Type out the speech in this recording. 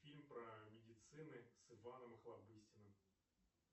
фильм про медицины с иваном охлобыстиным